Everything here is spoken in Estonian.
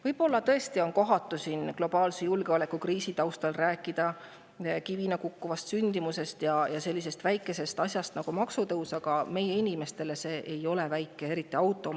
Võib-olla tõesti on kohatu siin globaalse julgeolekukriisi taustal rääkida kivina kukkuvast sündimusest ja sellisest väikesest asjast nagu maksutõus, aga meie inimestele see ei ole väike.